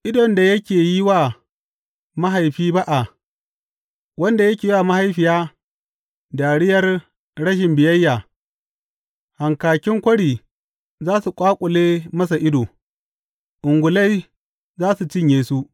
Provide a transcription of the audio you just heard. Idon da yake yi wa mahaifi ba’a, wanda yake wa mahaifiya dariyar rashin biyayya, hankakin kwari za su ƙwaƙule masa ido, ungulai za su cinye su.